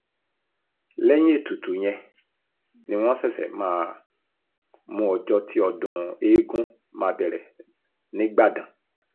lẹ́yìn ètùtù yẹn ni wọ́n ṣẹ̀ṣẹ̀ máa mú ọjọ́ tí ọdún eegun máa bẹ̀rẹ̀ nígbàdàn